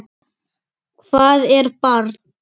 Hvað er barn?